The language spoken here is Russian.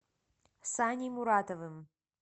саней муратовым